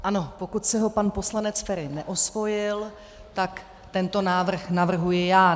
Ano, pokud si ho pan poslanec Feri neosvojil, tak tento návrh navrhuji já.